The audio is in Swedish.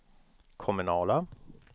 kommunala